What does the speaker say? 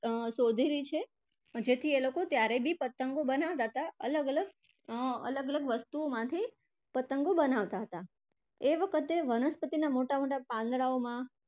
શોધેલી છે તેથી એ લોકો ત્યારે પણ પતંગો બનાવતા હતા અલગ અલગ અર અલગ અલગ વસ્તુઓમાંથી પતંગો બનાવતા હતા એ વખતે વનસ્પતિ ના મોટા મોટા પાંદડાઓમાં